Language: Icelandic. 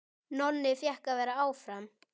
Nonni fékk að vera áfram.